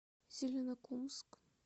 зеленокумск